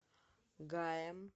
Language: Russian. гаем